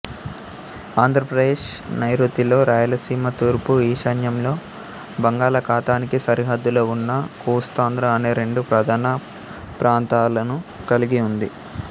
ఆంధ్రప్రదేశ్ నైరుతిలో రాయలసీమ తూర్పు ఈశాన్యంలో బంగాళాఖాతానికి సరిహద్దులో ఉన్న కోస్తాంధ్ర అనే రెండు ప్రధాన ప్రాంతాలను కలిగి ఉంది